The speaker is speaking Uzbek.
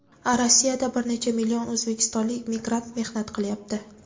Rossiyada bir necha million o‘zbekistonlik migrant mehnat qilyapti.